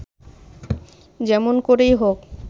যেমন করেই হোক